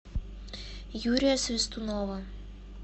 юрия свистунова